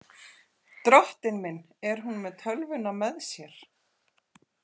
Drottinn minn, er hún með tölvuna með sér?